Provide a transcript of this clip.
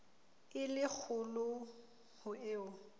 e le kgolo ho eo